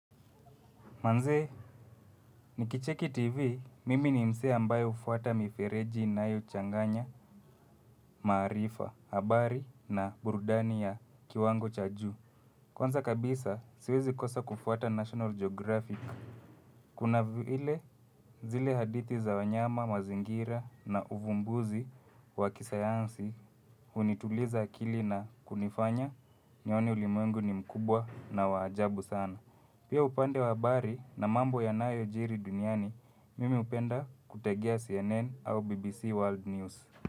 Manzee, nikicheki TV, mimi ni msee ambayo hufuata mifereji inayo changanya, maarifa, habari na burudani ya kiwango cha juu. Kwanza kabisa, siwezi kosa kufuata National Geographic. Kuna vile, zile hadithi za wanyama, mazingira na uvumbuzi wa kisayansi hunituliza akili na kunifanya, nione ulimwengu ni mkubwa na wa ajabu sana. Pia upande wa habari na mambo yanayojiri duniani, mimi hupenda kutegea CNN au BBC World News.